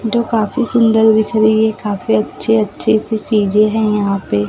जो काफी सुंदर दिख रही है काफी अच्छे अच्छे सी चीजें भी है यहां पे--